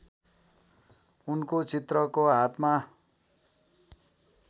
उनको चित्रको हातमा